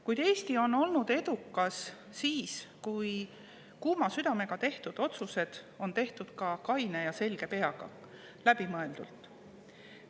Kuid Eesti on olnud edukas siis, kui kuuma südamega tehtud otsused on tehtud kaine ja selge peaga, läbimõeldult.